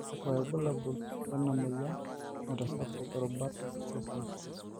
kakua irbulabol lena moyian naitasapuk irubat osesen